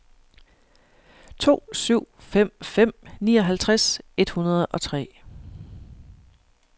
to syv fem fem nioghalvtreds et hundrede og tre